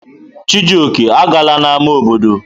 Chijioke, agala n'ámá obodo!